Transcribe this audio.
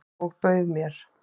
Og bauð mér.